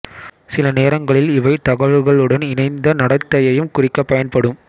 சில நேரங்களில் இவை தகவல்களுடன் இணைந்த நடத்தையையும் குறிக்க பயன்படும்